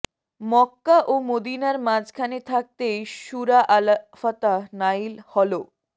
মক্কা ও মদীনার মাঝখানে থাকতেই সূরা আল ফাতহ্ নায়িল হলোঃ